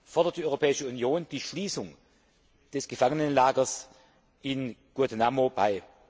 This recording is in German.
fordert die Europäische Union die Schließung des Gefangenenlagers Guantánamo Bay.